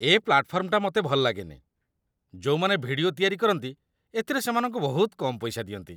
ଏ ପ୍ଲାଟଫର୍ମଟା ମତେ ଭଲଲାଗେନି । ଯୋଉମାନେ ଭିଡିଓ ତିଆରି କରନ୍ତି, ଏଥିରେ ସେମାନଙ୍କୁ ବହୁତ କମ୍ ପଇସା ଦିଅନ୍ତି ।